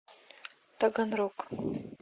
таганрог